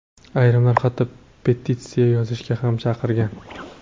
Ayrimlar hatto petitsiya yozishga ham chaqirgan.